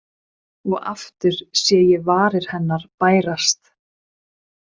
Og aftur sé ég varir hennar bærast.